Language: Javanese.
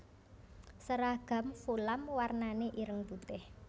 Seragam Fulam warnané ireng putih